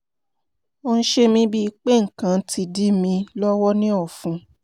ó ń ṣe mí bíi pé nǹkan kan ti dí mi lọ́wọ́ ní ọ̀fun